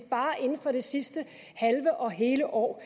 bare inden for det sidste halve og hele år